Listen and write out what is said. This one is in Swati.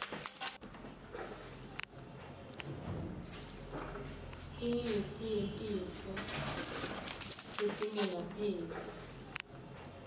imitsi yetifo letingelapheki